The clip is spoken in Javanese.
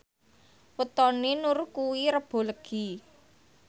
wetone Nur kuwi Rebo Legi